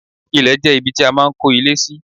Ilẹ̀ jẹ́ ibi tí a máa ń kó ilé sí.